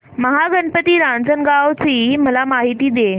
महागणपती रांजणगाव ची मला माहिती दे